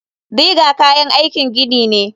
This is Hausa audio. Digger kayan aikin gini ne.